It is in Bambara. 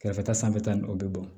Kɛrɛfɛta sanfɛta nin o bɛ bɔn